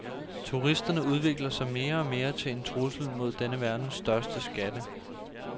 Turisterne udvikler sig mere og mere til en trussel mod denne verdens største skatte.